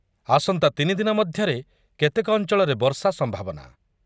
ଆସନ୍ତା ତିନି ଦିନ ମଧ୍ୟରେ କେତେକ ଅଞ୍ଚଳରେ ବର୍ଷା ସମ୍ଭାବନା